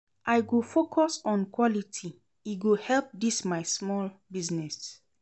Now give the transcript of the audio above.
I go focus on quality, e go help dis my small business.